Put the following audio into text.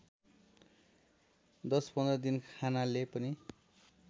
१० १५ दिन खानाले पनि